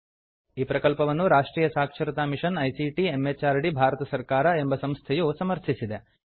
ಈ ಪ್ರಕಲ್ಪವನ್ನು ರಾಷ್ಟ್ರಿಯ ಸಾಕ್ಷರತಾ ಮಿಷನ್ ಐಸಿಟಿ ಎಂಎಚಆರ್ಡಿ ಭಾರತ ಸರ್ಕಾರ ಎಂಬ ಸಂಸ್ಥೆಯು ಸಮರ್ಥಿಸಿದೆ